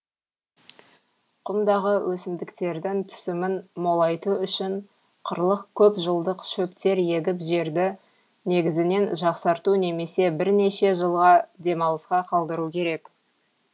құмдағы өсімдіктердің түсімін молайту үшін қырлық көп жылдық шөптер егіп жерді негізінен жақсарту немесе бірнеше жылға демалысқа қалдыру керек